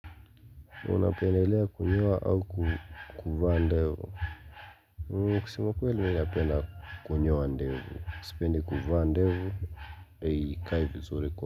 Unapendelea kunyoa au kuvaa ndevu? Kusema ukweli mimi napenda kunyoa ndevu. Sipendi kuvaa ndevu ndio ikae vizuri kwa.